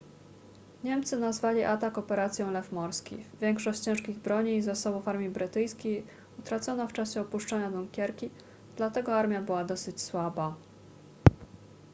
niemcy nazwali atak operacją lew morski większość ciężkich broni i zasobów armii brytyjskiej utracono w czasie opuszczania dunkierki dlatego armia była dosyć słaba